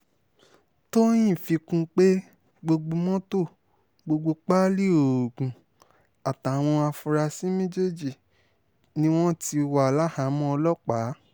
tọ̀nyìn fi kún un pé mọ́tò gbogbo páálí oògùn àtàwọn afurasí méjèèjì ni wọ́n ti wà láhàámọ̀ ọlọ́pàá